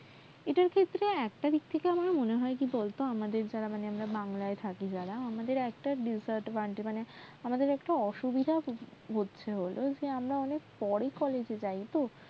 এটার ফলে আমার একটা দিক থেকে কি মনে হয় বলতো আমরা বাংলায় যারা থাকি আমাদের একটা disadvantage মানে আমাদের একটা বা অসুবিধা হচ্ছে কি আমরা অনেকটা পরে এ যাই তো